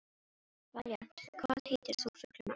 Valíant, hvað heitir þú fullu nafni?